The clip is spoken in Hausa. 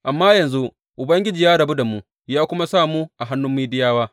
Amma yanzu Ubangiji ya rabu da mu ya kuma sa mu hannun Midiyawa.